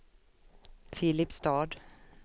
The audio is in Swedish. Filipstad